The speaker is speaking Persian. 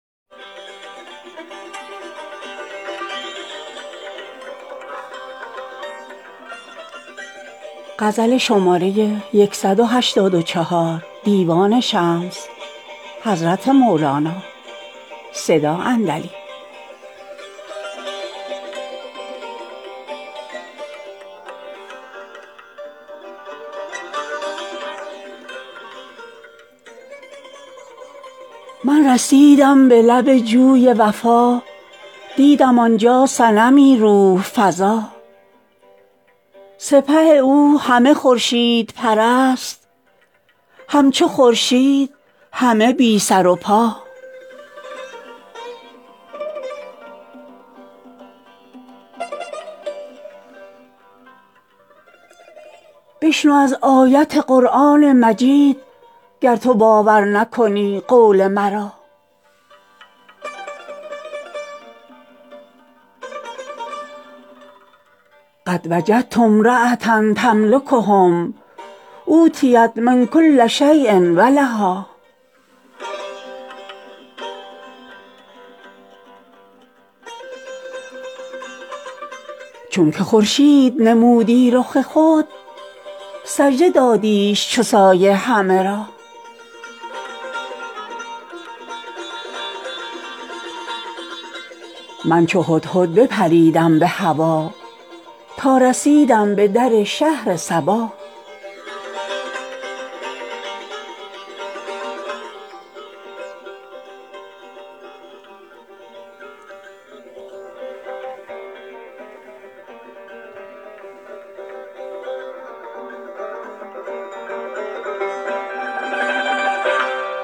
من رسیدم به لب جوی وفا دیدم آن جا صنمی روح فزا سپه او همه خورشید پرست همچو خورشید همه بی سر و پا بشنو از آیت قرآن مجید گر تو باور نکنی قول مرا إنى وجدت ٱمرأة تملکهم وأوتيت من کل شىءۢ ولها چونک خورشید نمودی رخ خود سجده دادیش چو سایه همه را من چو هدهد بپریدم به هوا تا رسیدم به در شهر سبا